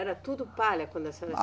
Era tudo palha quando a senhora